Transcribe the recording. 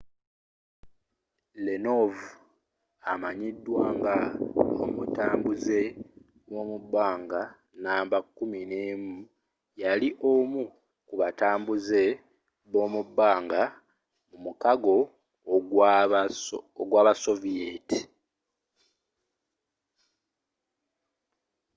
leonov amanyidwa nga omutambuze w’omubanga namba.11.” yali omu ku batambuuze bomubbanga mu mukago gwabasoviyeti